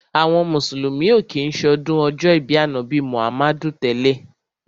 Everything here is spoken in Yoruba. Àwọn mùsùlùmí ò kí ń ṣọdún ọjọ́ ìbí Ànábì Muhammadu tẹ́lẹ̀.